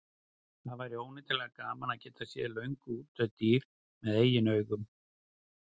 Það væri óneitanlega gaman að geta séð löngu útdauð dýr með eigin augum.